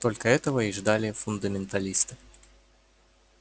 только этого и ждали фундаменталисты